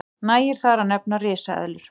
nægir þar að nefna risaeðlur